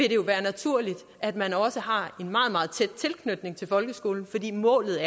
jo være naturligt at man også har en meget meget tæt tilknytning til folkeskolen fordi målet